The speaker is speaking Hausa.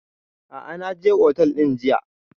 A'a na je otel ɗin jiya